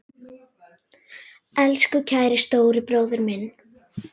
Elsku kæri stóri bróðir minn.